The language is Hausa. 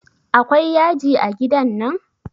Akwai yaji a gidan nan?